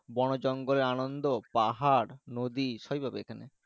বনে জঙ্গল এ আনন্দ পাহাড় নদি সবই পাবে এখানে।